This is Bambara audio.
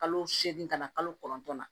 Kalo seegin ka na kalo kɔnɔntɔn na